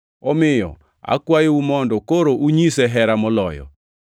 Omiyo akwayou mondo koro unyise hera moloyo.